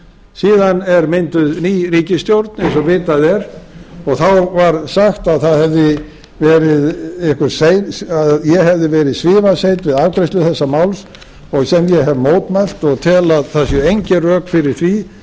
síðan er mynduð ný ríkisstjórn eins og vitað er og þá var sagt að ég hefði verið svifaseinn við afgreiðslu þessa máls sem ég hef mótmælt og tel að það séu engin rök fyrir því